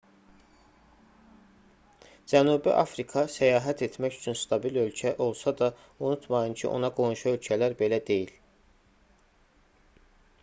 cənubi afrika səyahət etmək üçün stabil ölkə olsa da unutmayın ki ona qonşu ölkələr belə deyil